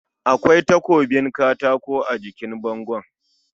Akwai takobin katako a jikin bango